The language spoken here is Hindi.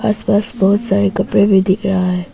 आस पास बहुत सारे कपड़े भी दिख रहा है।